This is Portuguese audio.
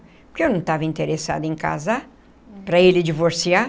Porque eu não estava interessada em casar, para ele divorciar.